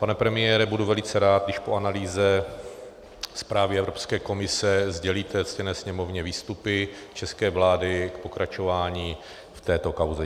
Pane premiére, budu velice rád, když po analýze zprávy Evropské komise sdělíte ctěné Sněmovně výstupy české vlády k pokračování v této kauze.